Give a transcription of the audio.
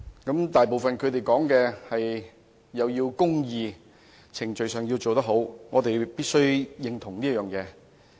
他們大部分都說要有公義，在程序上要做得好，我們必須認同這點。